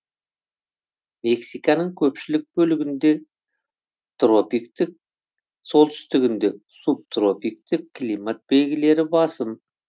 мексиканың көпшілік бөлігінде тропиктік солтүстігінде субтропиктік климат белгілері басым